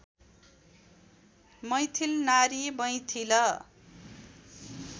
मैथिल नारी मैथिल